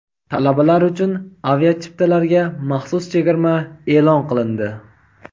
Talabalar uchun aviachiptalarga maxsus chegirma e’lon qilindi.